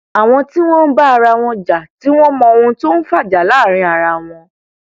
àwọn tí wọn ń bá ara wọn jà tí wọn mọ ohun tó ń fa ìjà láàrin ara wọn